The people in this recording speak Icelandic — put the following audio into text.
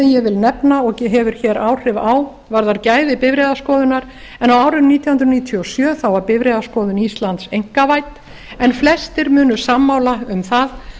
ég vil nefna og hefur áhrif á varðar gæði bifreiðaskoðunar en á árinu nítján hundruð níutíu og sjö varð bifreiðaskoðun íslands einkavædd en flestum munu sammála um það